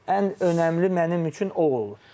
Ən ən önəmli mənim üçün o olur.